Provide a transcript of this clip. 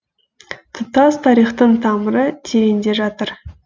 тұтас тарихтың тамыры тереңде жатыр